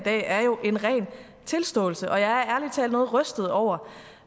i dag er en ren tilståelse jeg er ærlig talt noget rystet over